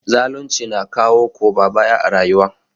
Zalunci na kawo koma baya a rayuwa.